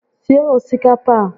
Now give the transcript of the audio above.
Sie osikapa a